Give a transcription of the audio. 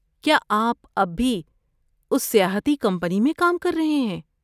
کیا آپ اب بھی اس سیاحتی کمپنی میں کام کر رہے ہیں؟